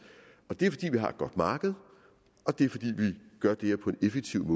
det er fordi vi har et godt marked og det er fordi vi gør det her på en effektiv